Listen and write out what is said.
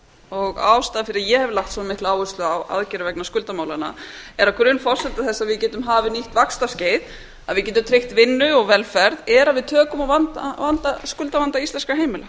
og ástæðan fyrir að ég hef lagt svona mikla áherslu á aðgerðir vegna skuldamálanna er að grunnforsenda þess að við getum hafið nýtt vaxtarskeið að við getum tryggt vinnu og velferð er að við tökum á skuldavanda íslenskra heimila